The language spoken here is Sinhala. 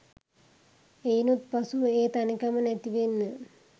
එයිනුත් පසුව ඒ තනිකම නැතිවෙන්න